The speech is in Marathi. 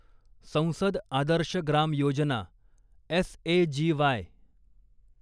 संसद आदर्श ग्राम योजना एस ए जी वाय